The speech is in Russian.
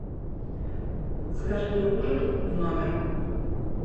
закажи мне ужин в номер